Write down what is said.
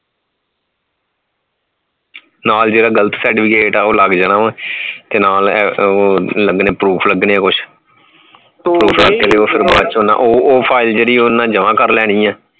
ਨਾਲ ਜੇੜਾ ਗ਼ਲਤ certificate ਹੈ ਉਹ ਲਗ ਜਾਣਾ ਤੇ ਨਾਲ ਇਹ ਉਹ proof ਲਗਨੇ ਕੁਛ ਬਾਅਦ ਚੋਂ ਨਾ ਉਹ file ਜੇੜੀ ਓਹਨਾਂ ਨੇ ਜਮਾ ਕਰ ਲੈਣੀ ਹੈ